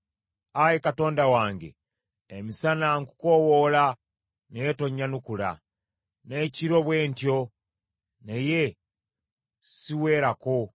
Ayi Katonda wange, emisana nkukoowoola, naye tonnyanukula; n’ekiro bwe ntyo, naye siweerako.